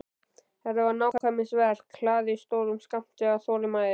Þetta var nákvæmnisverk hlaðið stórum skammti af þolinmæði.